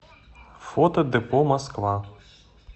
фото депо москва